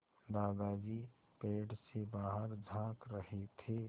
दादाजी पेड़ से बाहर झाँक रहे थे